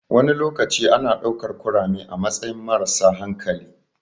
Wani lokaci ana ɗaukar kurame a matsayin marasa hankali.